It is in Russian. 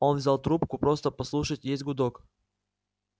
он взял трубку просто послушать есть гудок